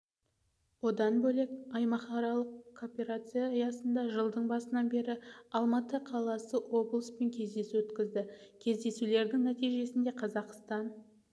одан бөлек аймақаралық кооперация аясында жылдың басынан бері алматы қаласы облыспен кездесу өткізді кездесулердің нәтижесінде қазақстан